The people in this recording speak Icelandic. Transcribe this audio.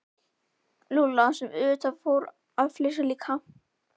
Lúlla sem auðvitað fór að flissa líka.